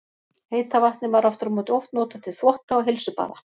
Heita vatnið var aftur á móti oft notað til þvotta og heilsubaða.